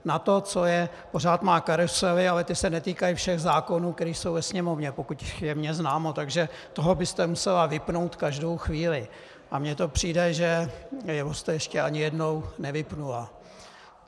Na to, co je, pořád má karusely, ale ty se netýkají všech zákonů, které jsou ve Sněmovně, pokud je mně známo, takže toho byste musela vypnout každou chvíli, a mně to přijde, že jeho jste ještě ani jednou nevypnula.